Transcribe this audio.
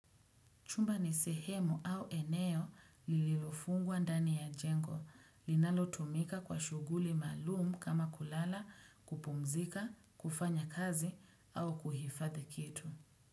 Chumba nisehemu au eneo lililofungwa ndani ya jengo, linalo tumika kwa shughuli maalum kama kulala, kupumzika, kufanya kazi au kuhifathi kitu.